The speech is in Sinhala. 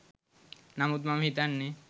නමුත් මම හිතන්නෙ